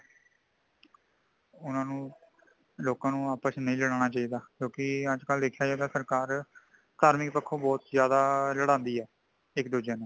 ਉਨ੍ਹਾਂਨੂੰ ਲੋਕਾਂ ਨੂੰ, ਆਪਸ ਵਿਚ ਨਹੀ ਲੜਾਉਣਾ ਚਾਇਦਾ | ਕਿਉਂਕਿ ਅੱਜ ਕਲ ਦੇਖਿਆਂ ਜਾਇ, ਤੇ ਸਰਕਾਰ ਲੋਕ ਨੂੰ ਥਾਰਮਿਕ ਪੱਖੋਂ ਬੁਤਹ ਜ਼ਿਆਦਾ ਲਾੜਾਂਦੀ ਹੈ ਇਕ ਦੂੱਜੇ ਨੂੰ